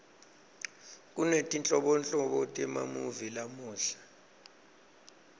kunetinhlobonhlobo temamuvi lamuhla